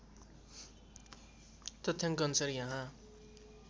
तथ्याङ्क अनुसार यहाँ